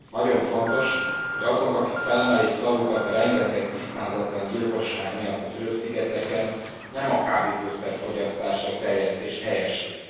Nagyon fontos, hogy azok, akik felemelik szavukat a rengeteg tisztázatlan gyilkosság miatt a Fülöp szigeteken, nem a kábítószer fogyasztást vagy terjesztést helyeslik.